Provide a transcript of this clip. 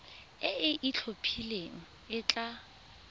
e e itlhophileng e tla